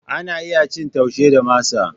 Ana iya cin Taushe da masa.